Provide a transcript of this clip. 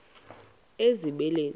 ezibeleni